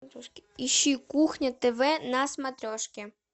ищи кухня тв на смотрешке